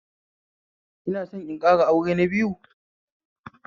Ina son in ƙara aure na biyu